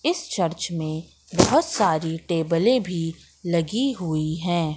इस चर्च में बहुत सारी टेबलें भी लगी हुई हैं।